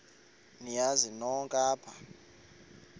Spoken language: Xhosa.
niyazi nonk apha